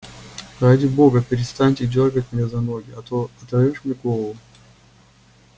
ради бога перестаньте дёргать меня за ноги а то оторвёшь мне голову